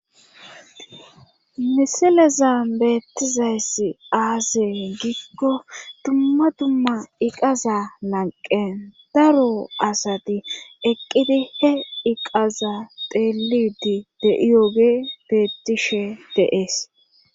misileza beettizayssi aase giikko dumma dumma iqaza lanqen daro asati eqqidi he iqaza teelidi deiyooge beettishe deees